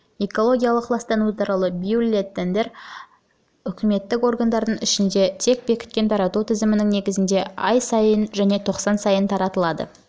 экологиялық ластану туралы бюллетендер үкіметтік органдардың ішінде тек бекіткен тарату тізімінің негізінде ай сайын және тоқсан сайын таратылады